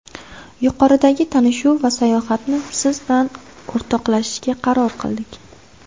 Yuqoridagi tanishuv va sayohatni siz bilan o‘rtoqlashishga qaror qildik.